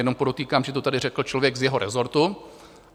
Jenom podotýkám, že to tady řekl člověk z jeho resortu.